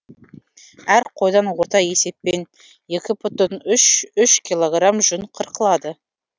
әр қойдан орта есеппен екі бүтін үш үш кг жүн қырқылады